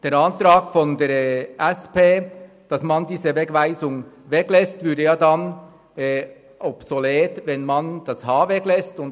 Der Antrag der SP-JUSO-PSA, wonach diese Wegweisung wegzulassen sei, wäre dann obsolet, würde man das h weglassen.